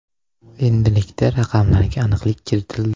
Endilikda raqamlarga aniqlik kiritildi.